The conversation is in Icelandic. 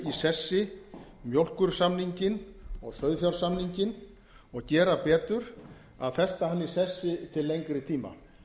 sessi mjólkursamninginn og sauðfjársamninginn og gera betur að festa hann í sessi til lengri tíma